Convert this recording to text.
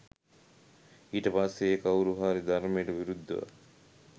ඊට පස්සේ ඒ කවුරුහරි ධර්මයට විරුද්ධව